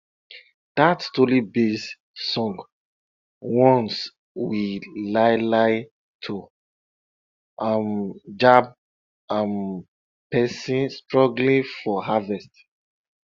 dat storybased song warns we lai lai to um yab um pesin struggling for harvest